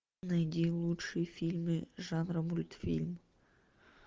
найди лучшие фильмы жанра мультфильм